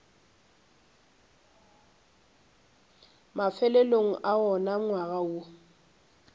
mafelelong a wona ngwaga woo